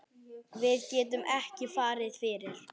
Við getum ekki farið fyrr.